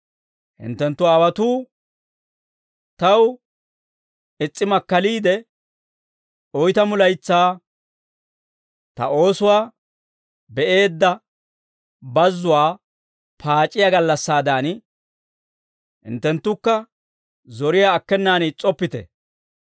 hinttenttu aawotuu taw is's'i makkaliide, oytamu laytsaa ta oosuwaa be'eedda bazzuwaa paac'iyaa gallassaadan, hinttenttukka zoriyaa akkenaan is's'oppite.